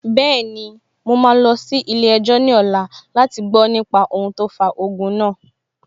Bẹ́ẹ̀ni, mo máa lọ sí ilé-ẹjọ́ ní ọ̀la láti gbọ nípa ohun tó fa ogun náà